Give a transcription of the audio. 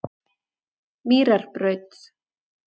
Mýrarbraut